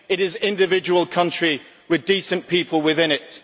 it is individual countries with decent people within it.